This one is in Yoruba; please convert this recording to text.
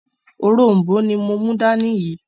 “òrom̀bó” ni mo mú dání yìí